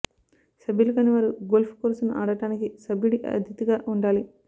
సభ్యులు కాని వారు గోల్ఫ్ కోర్సును ఆడటానికి సభ్యుడి అతిథిగా ఉండాలి